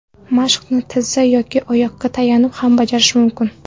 Mashqni tizzaga yoki oyoqqa tayanib ham bajarish mumkin.